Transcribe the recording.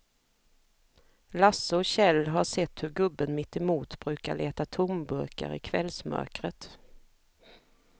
Lasse och Kjell har sett hur gubben mittemot brukar leta tomburkar i kvällsmörkret.